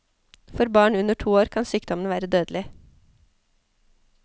For barn under to år kan sykdommen være dødelig.